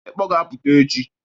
Ekpọ ga-apụta echi.